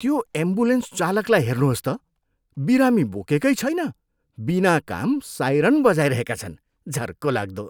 त्यो एम्बुलेन्स चालकलाई हेर्नुहोस् त, बिरामी बोकेकै छैन, बिना काम साइरन बजाइरहेका छन्। झर्को लाग्दो!